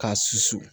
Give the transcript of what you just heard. K'a susu